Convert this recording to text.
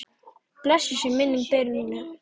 Blessuð sé minning Birnu.